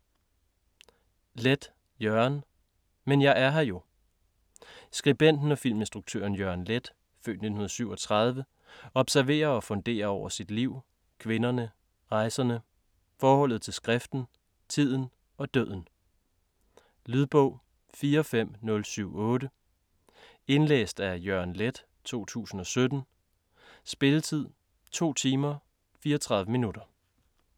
Leth, Jørgen: Men jeg er her jo Skribenten og filminstruktøren Jørgen Leth (f. 1937) observerer og funderer over sit liv, kvinderne, rejserne, forholdet til skriften, tiden og døden. Lydbog 45078 Indlæst af Jørgen Leth, 2017. Spilletid: 2 timer, 34 minutter.